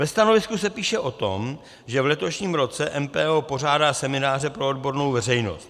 Ve stanovisku se píše o tom, že v letošním roce MPO pořádá semináře pro odbornou veřejnost.